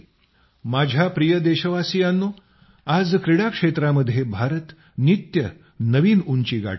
माझ्या प्रिय देशवासियांनो आज क्रीडा क्षेत्रामध्ये भारत नित्य नवीन उंची गाठत आहे